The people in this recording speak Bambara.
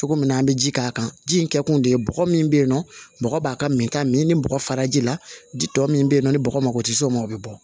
Cogo min na an bɛ ji k'a kan ji in kɛ kun de ye bɔgɔ min bɛ yen nɔ mɔgɔ b'a ka min ta min ni bɔgɔ fara ji la di tɔ min bɛ yen nɔ ni bɔgɔ mako tɛ s'o ma o bɛ bɔ